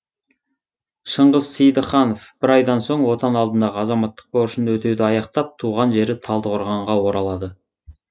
шыңғыс сейдахынов бір айдан соң отан алдындағы азаматтық борышын өтеуді аяқтап туған жері талдықорғанға оралады